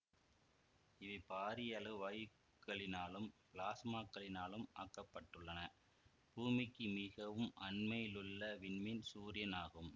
இவை பாரிய அளவு வாயுக்களினாலும் பிளாஸ்மாகளினாலும் ஆக்கப்பட்டுள்ளன பூமிக்கு மிகவும் அண்மையிலுள்ள விண்மீன் சூரியன் ஆகும்